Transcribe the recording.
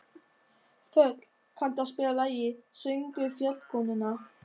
Þöll, kanntu að spila lagið „Söngur fjallkonunnar“?